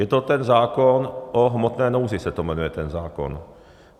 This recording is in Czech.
Je to ten zákon o hmotné nouzi, se to jmenuje, ten zákon.